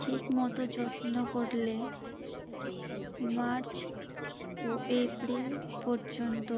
ঠিকমতো যত্ন করলে মার্চ ও এপ্রিল পর্যন্ত